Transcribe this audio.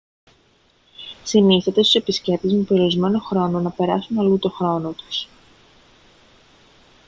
συνιστάται στους επισκέπτες με περιορισμένο χρόνο να περάσουν αλλού τον χρόνο τους